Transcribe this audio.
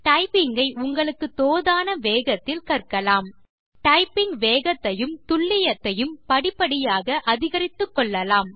typing ஐ உங்களுக்கு தோதான வேகத்தில் கற்கலாம் டைப்பிங் வேகத்தையும் துல்லியத்தையும் படிப்படியாக அதிகரித்துக்கொள்ளலாம்